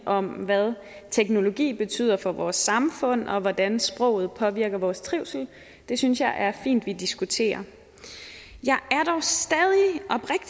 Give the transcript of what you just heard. om hvad teknologi betyder for vores samfund og hvordan sproget påvirker vores trivsel det synes jeg er fint vi diskuterer jeg